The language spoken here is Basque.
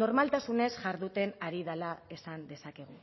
normaltasunez jarduten ari dela esan dezakegu